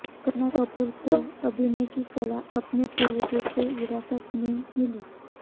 करीना कपूर को अभिनय की कला अपने पूर्वेजों से विरासत में मिली